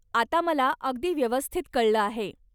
आता मला अगदी व्यवस्थित कळलं आहे.